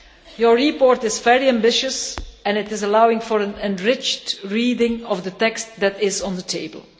Your report is very ambitious and allows for an enriched reading of the text that is on the table.